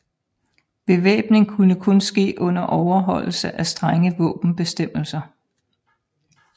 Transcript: Bevæbning kunne kun ske under overholdelse af strenge våbenbestemmelser